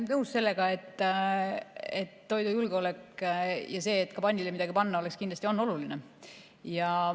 Olen nõus sellega, et toidujulgeolek ja see, et ka pannile midagi panna oleks, on kindlasti oluline.